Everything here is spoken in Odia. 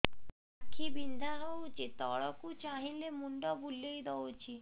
ଆଖି ବିନ୍ଧା ହଉଚି ତଳକୁ ଚାହିଁଲେ ମୁଣ୍ଡ ବୁଲେଇ ଦଉଛି